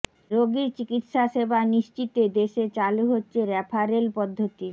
রোগীর চিকিৎসা সেবা নিশ্চিতে দেশে চালু হচ্ছে রেফারেল পদ্ধতি